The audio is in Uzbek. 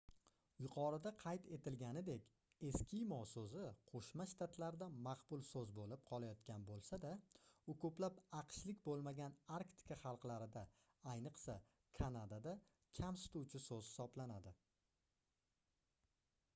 yuqorida qayd etilganidek eskimo soʻzi qoʻshma shtatlarda maqbul soʻz boʻlib qolayotgan boʻlsa-da u koʻplab aqshlik boʻlmagan arktika xalqlarida ayniqsa kanadada kamsituvchi soʻz hisoblanadi